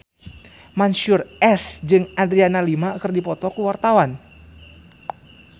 Mansyur S jeung Adriana Lima keur dipoto ku wartawan